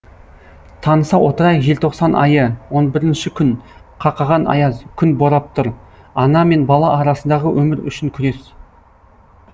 таныса отырайық желтоқсан айы он бірінші күн қақаған аяз күн борап тұр ана мен бала арасындағы өмір үшін күрес